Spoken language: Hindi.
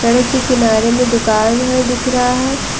सड़क के किनारे में दुकान है दिख रहा है ।